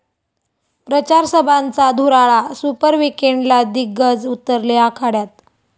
प्रचारसभांचा धुराळा, सुपर विकेंडला दिग्गज उतरले आखाड्यात